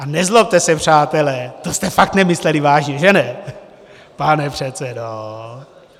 A nezlobte se přátelé, to jste fakt nemysleli vážně, že ne, pane předsedo?